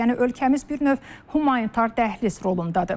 Yəni ölkəmiz bir növ humanitar dəhliz rolundadır.